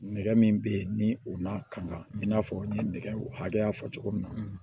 Nɛgɛ min bɛ ye ni o n'a kanga i n'a fɔ ni nɛgɛ hakɛya fɔ cogo min na